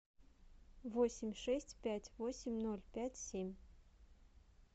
восемь шесть пять восемь ноль пять семь